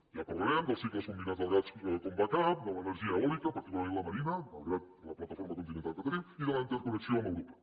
ja parlarem dels cicles combinats del gas com a backupment la marina malgrat la plataforma continental que tenim i de la interconnexió amb europa